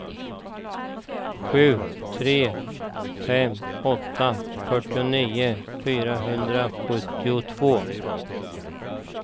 sju tre fem åtta fyrtionio fyrahundrasjuttiotvå